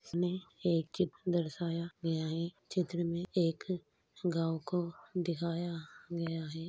इसमें एक चित्र दर्शाया गया हे । चित्र में एक गाँव को दिखाया गया है।